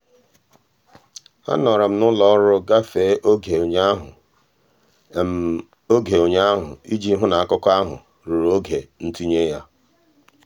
anọrọ m n'ụlọ um ọrụ gafee oge ụnyaahụ oge ụnyaahụ iji hụ na akụkọ ahụ ruru oge ntinye ya.